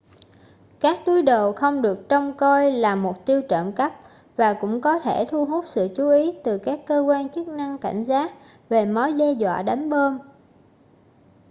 các túi đồ không được trông coi là mục tiêu trộm cắp và cũng có thể thu hút sự chú ý từ các cơ quan chức năng cảnh giác về mối đe dọa đánh bom